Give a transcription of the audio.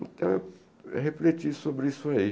Então, eu refleti sobre isso aí.